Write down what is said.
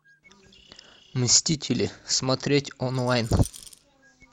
мстители смотреть онлайн